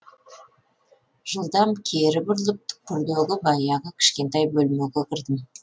жылдам кері бұрылып түкпірдегі баяғы кішкентай бөлмеге кірдім